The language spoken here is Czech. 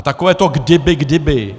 A takové to kdyby, kdyby.